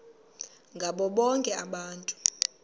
ngabo bonke abantu